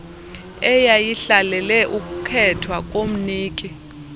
eyayihlalele ukukhethwa komniki